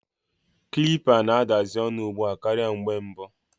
Kilipa na-adazi onu ugbua karia mgbe mbu.